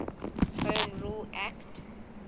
home rule act